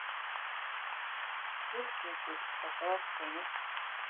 Flutningur á Grásteini.